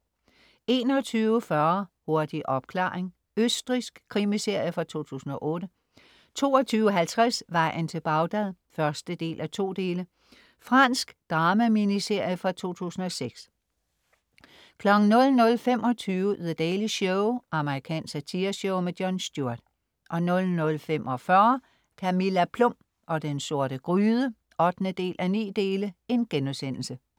21.40 Hurtig opklaring. Østrigsk krimiserie fra 2008 22.50 Vejen til Bagdad 1:2 Fransk drama-miniserie fra 2006 00.25 The Daily Show. amerikansk satireshow. Jon Stewart 00.45 Camilla Plum og den sorte gryde 8:9*